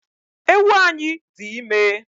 Ewu anyi di ime